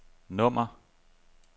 nummer